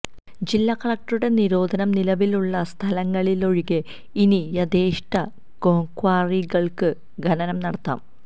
ജില്ലാ കളക്ടറുടെ നിരോധനം നിലവിലുള്ള സ്ഥലങ്ങളിലൊഴികെ ഇനി യഥേഷ്ടം ക്വാറികള്ക്ക് ഖനനം നടത്താം